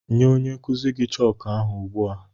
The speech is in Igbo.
Nye onye nkuzi gị chooku ahụ ugbu a!